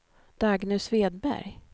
Dagny Svedberg